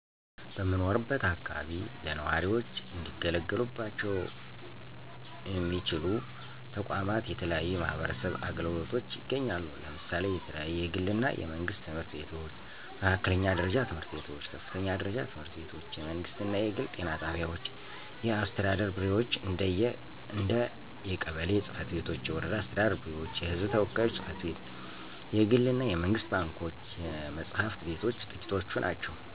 በምኖርበት አከባቢ ለነዋሪዎች እንዲገለገሉባቸው ሚያስችሉ ተቋማት የተለያዩ የማህበረሰብ አገልግሎቶች ይገኛሉ። ለምሳሌ የተለያዩ የግል እና የመንግስት ትምህርት ቤቶች፣ መካከለኛ ደረጃ ትምህርት ቤቶች፣ ከፍተኛ ደረጃ ትምህርት ቤቶች፣ የመንግስት እና የግል ጤና ጣቢያዎች፣ የአስተዳደር ቢሮዎች እንደ የቀበሌ ፅ/ቤቶች፤ የወረዳ አስተዳደር ቢሮዎች፤ የህዝብ ተወካዮች ጽ/ቤት፣ የግል እና የመንግስት ባንኮች፣ የመፅሐፍት ቤቶች ጥቂቶቹ ናቸው።